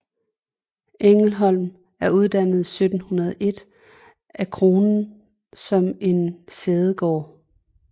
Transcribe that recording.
Engelholm er dannet i 1701 af Kronen som en sædegård